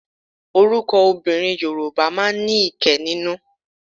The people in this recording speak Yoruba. Oríkì obìnrin Yorùbá máa ń ní kẹ́ nínú